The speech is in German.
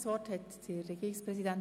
Das Wort hat der Regierungspräsident.